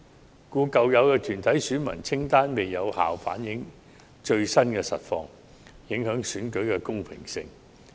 所以，舊有團體選民清單未能有效反映最新情況，影響選舉的公平性。